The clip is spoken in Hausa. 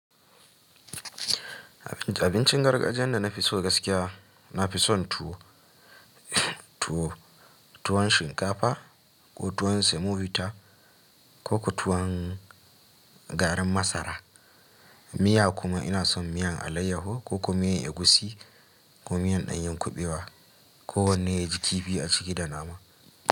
Abincin gargajiyan da na fi so gaskiya, na fi son tuwo, tuwon shinkafa ko tuwon semobita ko ko tuwon garin masara. Miya kuma ina son miyan alayyaho ko kuma miyan egusi ko miyan ɗanyen kuɓewa ko wanne ya ji kifi a ciki da nama.